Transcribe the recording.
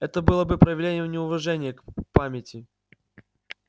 это было бы проявлением неуважения к к памяти